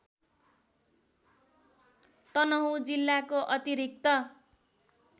तनहुँ जिल्लाको अतिरिक्त